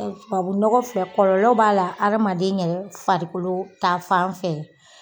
kɔlɔ b'a la adamaden yɛrɛ farikolo ta fan fɛ.